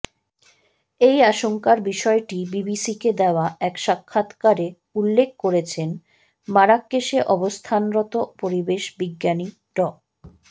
এই আশঙ্কার বিষয়টি বিবিসিকে দেয়া এক সাক্ষাৎকারে উল্লেখ করেছেন মারাক্কেশে অবস্থানরত পরিবেশ বিজ্ঞানী ড